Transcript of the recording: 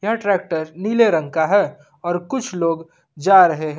यह ट्रैक्टर नीले रंग का है और कुछ लोग जा रहे हैं।